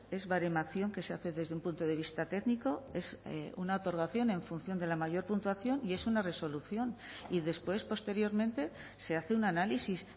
es baremación que se hace desde un punto de vista técnico es una otorgación en función de la mayor puntuación y es una resolución y después posteriormente se hace un análisis